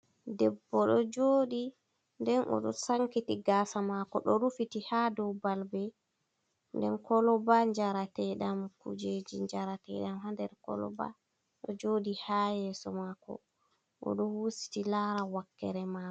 Debbo ɗo joɗi nden o ɗo sankiti gasa mako ɗo rufiti ha dow balbe nden Koloba jarateɗam kujeji jarateɗam nder Koloba ɗo joɗi ha yeso mako o ɗo hositi lara wakkere mai.